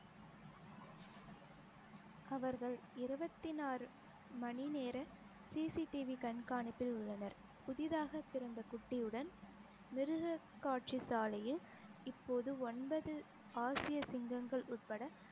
அவர்கள் இருவத்தி நாலு மணி நேர CCTV கண்காணிப்பில் உள்ளனர் புதிதாக பிறந்த குட்டியுடன் மிருகக்காட்சி சாலையில் இப்போது ஒன்பது ஆசிய சிங்கங்கள் உட்பட